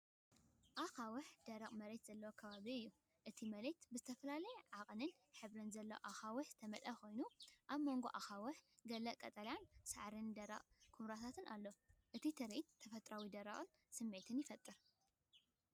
ኣኻውሕን ደረቕ መሬትን ዘለዎ ከባቢ እዩ። እቲ መሬት ብዝተፈላለየ ዓቐንን ሕብርን ዘለዎም ኣኻውሕ ዝተመልአ ኮይኑ፡ ኣብ መንጎ ኣኻውሕ ገለ ቀጠልያ ሳዕርን ደረቕ ሳዕርን ኵምራታት ኣሎ። እቲ ትርኢት ተፈጥሮኣውን ደረቕን ስምዒት ይፈጥር።